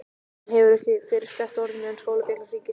Hann hefur ekki fyrr sleppt orðinu en skólabjallan hringir.